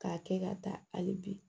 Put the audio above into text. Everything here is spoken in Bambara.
K'a kɛ ka taa hali bi